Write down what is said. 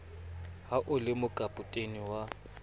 ha o le mokapotene wa